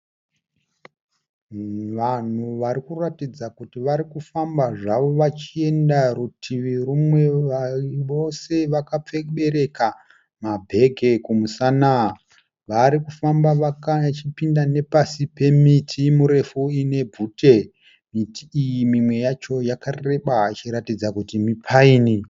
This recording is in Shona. Vanhu varikuratidza kuti varikufamba zvavo. Vachienda rutivi rumwe, vose vakabereka ma bhegi kumusana. Varikufamba vachipinda nepasi pemiti mirefu ine bvute. Miti iyi mimwe yacho yakareba ichiratidza kuti mi paini.